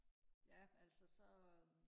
ja altså så